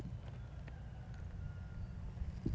Valdimar ótrauður út um dyrnar, Smári elti.